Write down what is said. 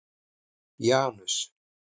Janus